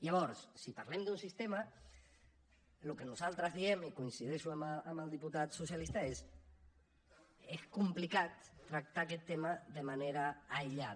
llavors si parlem d’un sistema el que nosaltres diem i coincideixo amb el diputat socialista és que és complicat tractar aquest tema de manera aïllada